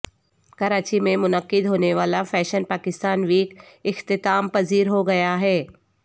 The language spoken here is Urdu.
کراچی میں منعقد ہونے والا فیشن پاکستان ویک اختتام پذیر ہو گیا ہے